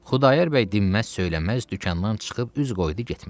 Xudayar bəy dinməz-söyləməz dükandan çıxıb üz qoydu getməyə.